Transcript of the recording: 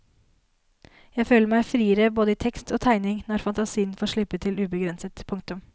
Jeg føler meg friere både i tekst og tegning når fantasien får slippe til ubegrenset. punktum